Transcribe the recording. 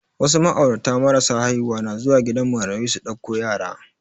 Wasu ma'aurata marasa haihuwa na zuwa gidan marayu su ɗauko yara